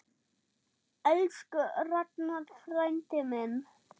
Elsku Ragnar frændi minn.